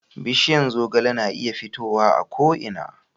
bishiyan zogale na iya fitowa a ko ina